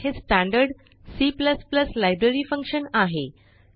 cout हे standard C library function आहे